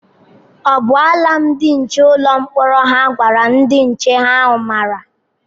O bu alam ndi nche ụlọ mkpọrọ hà gwara ndị nche ahụ mara?